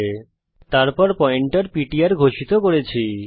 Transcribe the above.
তারপর আমরা একটি পয়েন্টার পিটিআর ঘোষিত করেছি